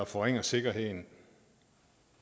forringe sikkerheden